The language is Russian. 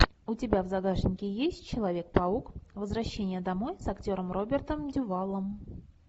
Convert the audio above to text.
у тебя в загашнике есть человек паук возвращение домой с актером робертом дювалом